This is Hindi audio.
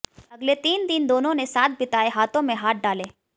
अगले तीन दिन दोनों ने साथ बिताए हाथों में हाथ डाले